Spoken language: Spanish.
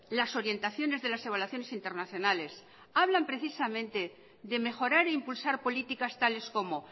las orientaciones de las evaluaciones internacionales hablan precisamente de mejorar e impulsar políticas tales como